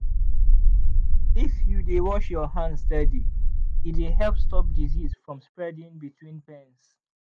if you dey wash your hands steady e dey help stop disease from spreading between pens.